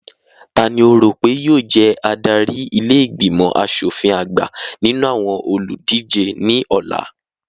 Tani o rò pé yóò jẹ adarí ilé ìgbìmọ̀ aṣòfin àgbà nínú àwọn olùdíje ní ọ̀la?